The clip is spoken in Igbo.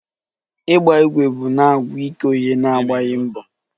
ịgba igwe bụ na-agwụ ike oghere na-agbaghi mbọ